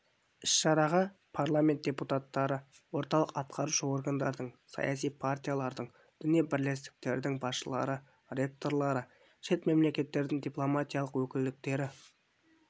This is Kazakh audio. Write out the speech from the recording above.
іс-шараға парламент депутаттары орталық атқарушы органдардың саяси партиялардың діни бірлестіктердің басшылары ректорлары шет мемлекеттердің дипломатиялық өкілдіктері